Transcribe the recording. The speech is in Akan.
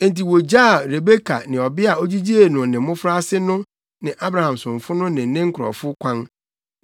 Enti wogyaa Rebeka ne ɔbea a ogyigyee no ne mmofraase no ne Abraham somfo no ne ne nkurɔfo kwan.